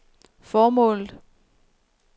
formålet